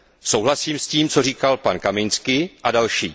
Souhlasím s tím, co říkal pan Kamiński a další.